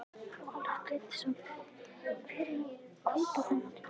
Valur Grettisson: Hver er að kaupa þennan hlut?